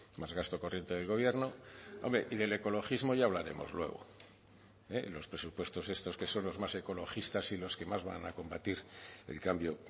más gasto corriente del gobierno hombre y del ecologismo ya hablaremos luego los presupuestos estos que son los más ecologistas y los que más van a combatir el cambio